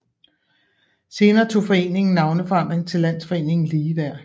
Senere tog foreningen navneforandring til Landsforeningen Ligeværd